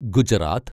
Gujarat